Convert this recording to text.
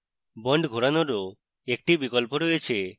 bonds ঘোরানোরও একটি বিকল্প রয়েছে